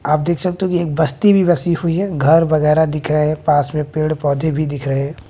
आप देख सकते हैं एक बस्ती भी बसी हुई है घर वगैरा दिख रहा है पास में पेड़ पौधे भी दिख रहे--